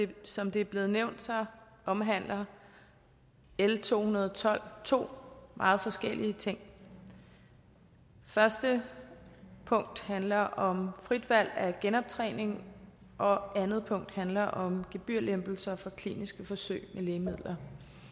tak som det er blevet nævnt omhandler l to hundrede og tolv to meget forskellige ting første punkt handler om frit valg af genoptræning og andet punkt handler om gebyrlempelser for kliniske forsøg med lægemidler